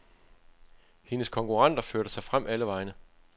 Hende konkurrenter førte sig frem alle vegne.